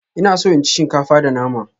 Ina so in ci shinkafa da nama.